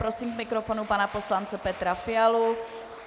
Prosím k mikrofonu pana poslance Petra Fialu.